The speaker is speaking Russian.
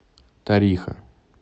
тариха